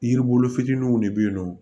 Yiri bolo fitininw de be yen nɔ